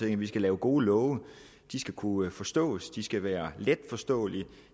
at vi skal lave gode love de skal kunne forstås de skal være let forståelige